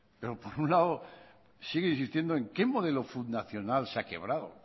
por un lado sigue insistiendo qué modelo fundacional se ha quebrado